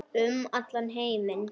Um heim allan.